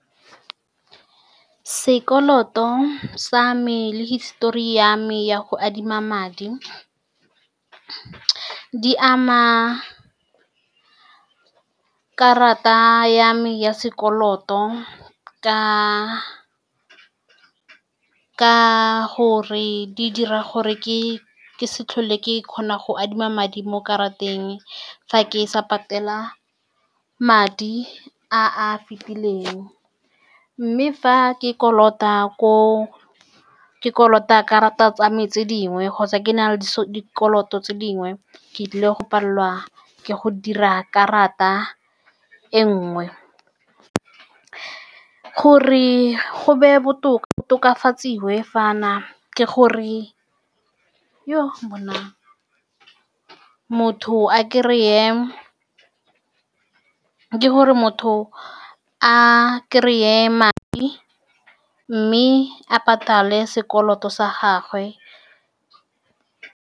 Sekoloto sa me le hisitori ya me ya go adima madi di ama karata ya me ya sekoloto, ka-ka gore di dira gore ke-ke se tlhole ke kgona go adima madi mo karateng fa ke sa patela madi a a fitileng. Mme fa ke kolota ko ke kolota karata tsa me tse dingwe kgotsa ke na le dikoloto tse dingwe, ke tlile go palelwa ke go dira karata e nngwe. Gore go be botoka, go tokafadiwe fa na ke gore, yoh! bonang, motho a kry-e, ke gore motho a kry-e madi mme a patale sekoloto sa gagwe.